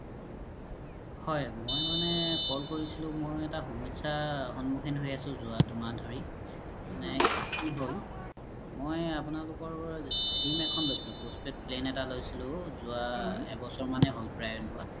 হয় মই মানে call কোৰিছিলো মই এটা সমস্যা সন্মুখীন হয় আছো যোৱা দুদিন ধোৰি মানে কি হ'ল আপুনালোকৰ পা sim এখন লইছিলো postpaid plan এটা লইছিলো যোৱা এবছৰ মানে হ'ল প্ৰাই লুৱা